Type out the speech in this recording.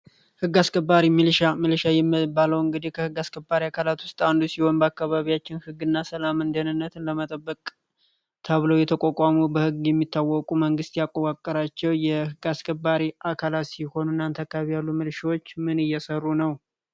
ሕግ አስከባሪ ሚሊሻ ሚሊሻ የምትባለው እንግዲህ ከህግ አስከባሪ አካላት ውስጥ አንዱ ሲሆን፤ በአካባቢያችን ህግ እና ሰላምን ለመጠበቅ ተብለው የተቋቋሙ በሕግ የሚታወቁ መንግስት ያዋቀራቸው የሕግ አስከባሪ አካላት ሲሆኑ፤ እናንተ አካባቢ ያሉ ሚሊሻዎች ምን እየሰሩ ነው?